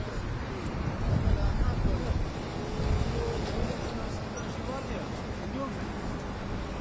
Yəni qaldısa yəni yola çıxmaq üçün, yola çıxanda da, yəni burda bütün nə var, yəni çıxırsan yola.